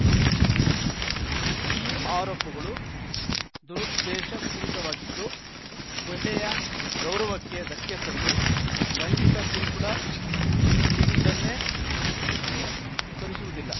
ಈ ಆರೋಪಗಳು ದುರುದ್ದೇಶಪೂರಿತವಾಗಿದ್ದು ಮಹಿಳೆಯ ಗೌರವಕ್ಕೆ ಧಕ್ಕೆ ತಂದು ಲೈಂಗಿಕ ಕಿರುಕುಳ ನೀಡಿದ್ದನ್ನೇ ಪುಷ್ಟೀಕರಿಸುವುದಿಲ್ಲ